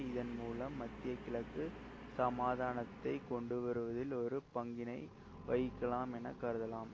இதன்மூலம் மத்திய கிழக்கு சமாதானத்தை கொண்டு வருவதில் ஒரு பங்கினை வகிக்கலாம் என கருதலாம்